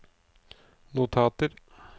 notater